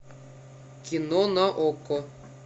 кино на окко